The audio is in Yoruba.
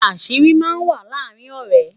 àṣírí má n wà làrin ọrẹ